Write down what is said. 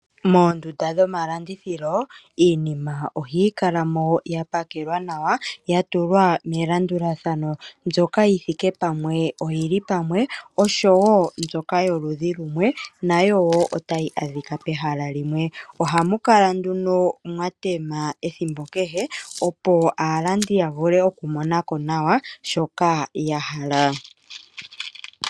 Moondunda dhomalandithilo, iinima ohayi kala mo ya pakelwa nawa ya tulwa melandulathano mbyoka yi thike pamwe oyi li pamwe, oshowo mbyoka yoludhi lumwe nayo wo otayi adhika pehala limwe. Ohamu kala nduno mwa tema ethimbo kehe, opo aalandi ya vule okumona ko nawa shoka ya hala.